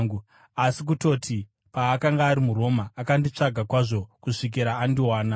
Asi kutoti, paakanga ari muRoma, akanditsvaga kwazvo kusvikira andiwana.